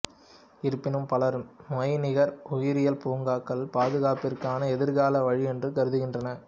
இருப்பினும் பலர் மெய்நிகர் உயிரியல் பூங்காக்கள் பாதுகாப்பிற்கான எதிர்கால வழி என்று கருதுகின்றனர்